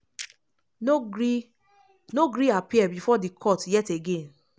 no gree no gree appear bifor di court yet again.